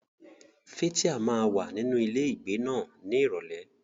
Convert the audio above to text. Fathia máa wà nínú ilé ìgbé náà ní Ìrọ̀lẹ́.